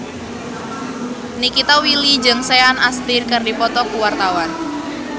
Nikita Willy jeung Sean Astin keur dipoto ku wartawan